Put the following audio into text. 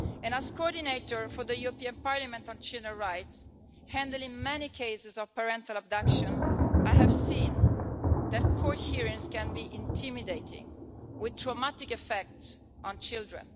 As coordinator for the European Parliament on children's rights, handling many cases of parental abduction, I have seen that court hearings can be intimidating, with traumatic effects on children.